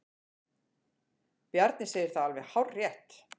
Bjarni segir það alveg hárrétt.